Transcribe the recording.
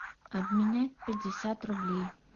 обменять пятьдесят рублей